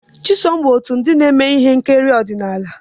Chisom bụ otu n'ime ndị na-eme ihe nkiri ọdịnala.